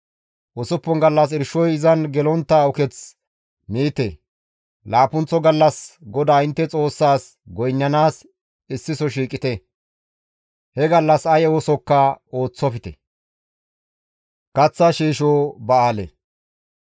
Usuppun gallas irshoy izan gelontta uketh miite; Laappunththo gallas GODAA intte Xoossaas goynnanaas issiso shiiqite; he gallas ay oosokka ooththofte.